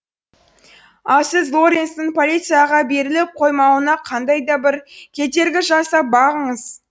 ал сіз лоренстің полицияға беріліп қоймауына қандайда бір кедергі жасап бағыңыз